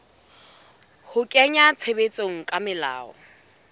ho kenngwa tshebetsong ha melao